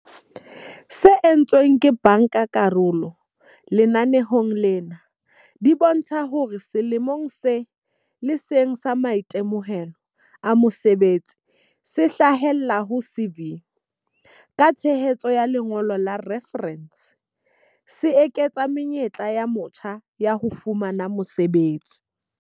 tse entsweng ke bankakarolo lenaneong lena di bontsha hore selemong se le seng sa maitemohelo a mosebetsi se hlahellang ho CV, ka tshehetso ya lengolo la refarense, se eketsa menyetla ya motjha ya ho fumana mosebetsi.